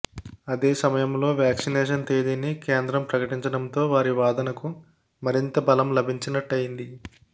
అదే సమయంలో వ్యాక్సినేషన్ తేదీని కేంద్ర ప్రకటించడంతో వారి వాదనకు మరింత బలం లభించినట్టయింది